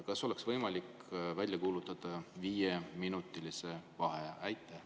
" Kas oleks võimalik välja kuulutada viieminutiline vaheaeg?